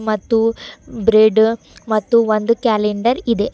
ಮತ್ತು ಬ್ರೆಡ್ ಮತ್ತು ಒಂದು ಕ್ಯಾಲೆಂಡರ್ ಇದೆ.